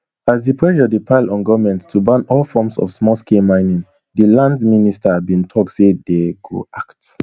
as di pressure dey pile on goment to ban all forms of smallscale mining di lands minister bin tok say dey go act